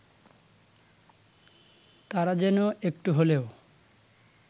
তারা যেন একটু হলেও